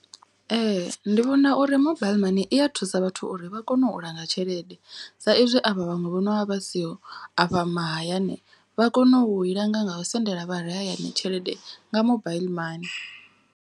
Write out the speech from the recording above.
Ee ndi vhona uri mobile mani iya thusa vhathu uri vha kone u langa tshelede. Sa izwi avha vhaṅwe vhonovha vha siho afha mahayani vha kone u i langa nga u sendela vhare hayani tshelede nga mobaiḽi mani.